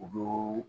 U b'o